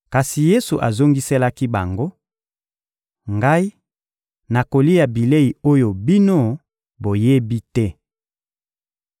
Kasi Yesu azongiselaki bango: — Ngai, nakolia bilei oyo bino boyebi te.